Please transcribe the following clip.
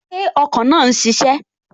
Ṣé ọkọ̀ náà n ṣiṣẹ́?